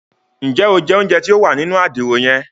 Njẹ o jẹ ounjẹ tí o wà nínú Àdìrò yen?